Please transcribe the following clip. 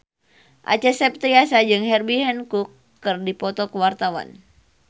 Acha Septriasa jeung Herbie Hancock keur dipoto ku wartawan